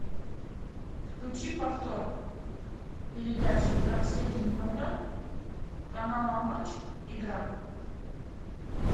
включи повтор передачи двадцать один ноль ноль канала матч игра